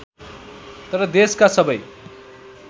तर देशका सबै